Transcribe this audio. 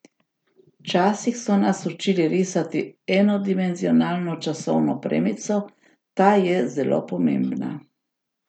Včasih so nas učili risati enodimenzionalno časovno premico, ta je zelo pomembna.